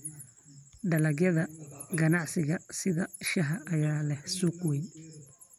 Dalagyada ganacsiga sida shaaha ayaa leh suuq weyn.